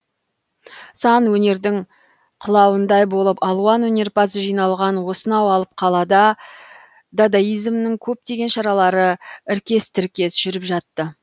сан өнердің қылауындай болып алуан өнерпаз жиналған осынау алып қалада дадаизмнің көптеген шаралары іркес тіркес жүріп жатты